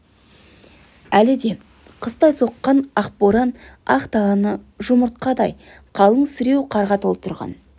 әлі де қыстай соққан ақ боран ақ даланы жұмыртқадай қалың сіреу қарға толтырған